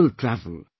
People travel